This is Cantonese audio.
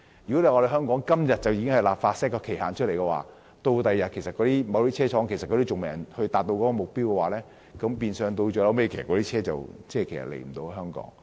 如果香港今天便立法設定期限，但某些汽車生產商屆時卻仍未達到目標的話，那麼汽車最終便無法輸到香港。